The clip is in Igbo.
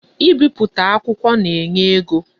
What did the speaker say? I bipụta akwukwo na-enye ego.